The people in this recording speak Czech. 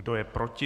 Kdo je proti?